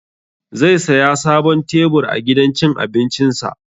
Zai saya sabon tebur a gidan cin abincin sa